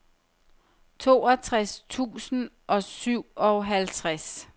toogtres tusind og syvoghalvtreds